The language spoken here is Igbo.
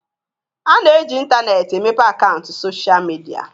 A na-eji intaneetị emepe akaụntụ sochịa midia.